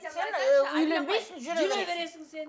сен ы үйленбейсің жүре бересің сен